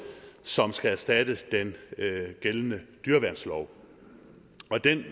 som skal erstatte den gældende dyreværnslov